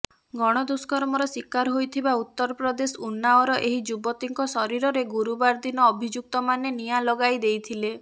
ଗଣଦୁଷ୍କର୍ମର ଶିକାର ହୋଇଥିବା ଉତ୍ତରପ୍ରଦେଶ ଉନ୍ନାଓର ଏହି ଯୁବତୀଙ୍କ ଶରୀରରେ ଗୁରୁବାର ଦିନ ଅଭିଯୁକ୍ତମାନେ ନିଆଁ ଲଗାଇ ଦେଇଥିଲେ